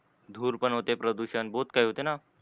धूर पण होते प्रदूषण बहोत काही होते न?